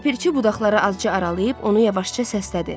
Ləpirçi budaqlara azca aralayıb onu yavaşca səslədi.